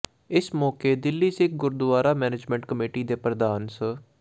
ਇਸ ਮੌਕੇ Delhi Sikh Gurdwara management committee ਦੇ ਪ੍ਰਧਾਨ ਸ